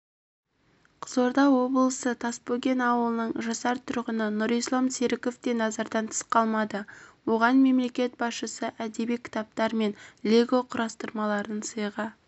қызылорда облысы тасбөген ауылының жасар тұрғыны нұрислам серіков те назардан тыс қалмады оған мемлекет басшысы әдеби кітаптар мен лего құрастырмаларын сыйға